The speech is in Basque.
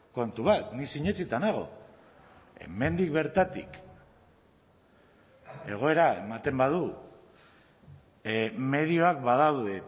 kontu bat ni sinetsita nago hemendik bertatik egoera ematen badu medioak badaude